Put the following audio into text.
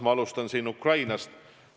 Ma alustan Ukrainast.